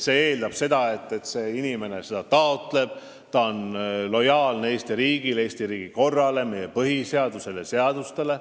Kodakondsuse saamine eeldab, et inimene seda taotleb ning on lojaalne Eesti riigile ja selle korrale, meie põhiseadusele ja seadustele.